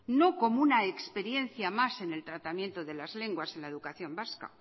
no como una experiencia más en el tratamiento de las lenguas en la educación vasca